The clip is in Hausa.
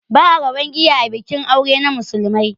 Ba'a rabon giya a bikin aure na musulmai